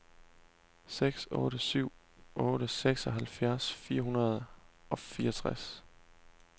seks otte syv otte seksoghalvtreds fire hundrede og fireogtres